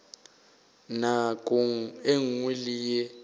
nakong ye nngwe le ye